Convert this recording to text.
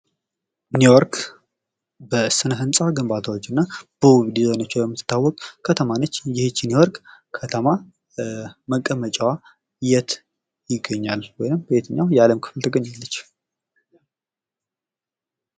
ኒዮርክ በስነ-ህንጻ ግንባታ እና በውብ ዲዛይኖቿ የምትታወቅ ከተማ ነች። ይህች ኒውዮርክ ከተማ መቀመጫዋ የት ይገኛል? ወይም የት ነው? የትኛው የአለም ክፍል ትገኛለች?